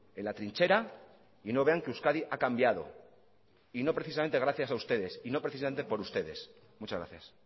en la trinchera y no vean que euskadi ha cambiado y no precisamente gracias a ustedes y no precisamente por ustedes muchas gracias